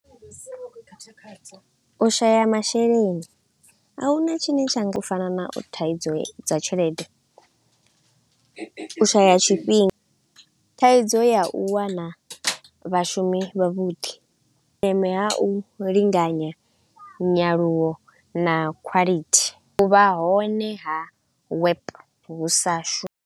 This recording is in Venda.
U shaya masheleni, a huna tshine tsha nga u fana na u thaidzo dza tshelede, u shaya tshifhinga, thaidzo ya u wana vhashumi vha vhuḓi. Vhuleme ha u linganya nyaluwo na quality u vha hone ha wap hu sa shu.